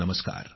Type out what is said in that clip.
नमस्कार